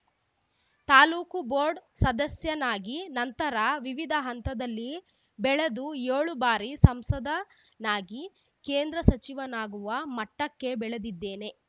taluk board ಸದಸ್ಯನಾಗಿ ನಂತರ ವಿವಿಧ ಹಂತಗಳಲ್ಲಿ ಬೆಳೆದು ಏಳು ಬಾರಿ ಸಂಸದನಾಗಿ ಕೇಂದ್ರ ಸಚಿವನಾಗುವ ಮಟ್ಟಕ್ಕೆ ಬೆಳೆದಿದ್ದೇನೆ